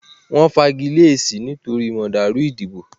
wọ́n fagilé èsì nítorí màdàrù ìdìbò.